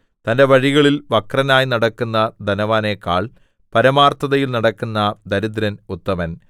തന്റെ വഴികളിൽ വക്രനായി നടക്കുന്ന ധനവാനെക്കാൾ പരമാർത്ഥതയിൽ നടക്കുന്ന ദരിദ്രൻ ഉത്തമൻ